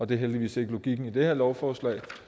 det er heldigvis ikke logikken i det her lovforslag